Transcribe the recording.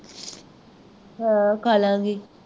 ਹਾਂ ਖਾਲ਼ਾਂਗੀ